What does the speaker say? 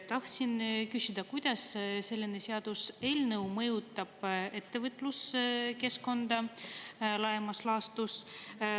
Tahtsin küsida, kuidas selline seaduseelnõu mõjutab ettevõtluskeskkonda laiemas laastus.